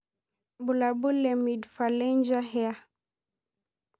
Bulabul le Midphalangea hair.